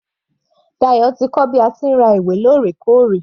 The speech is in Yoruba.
Dayo ti kọ́ bí a ti ń ra ìwé lórẹkóòrè.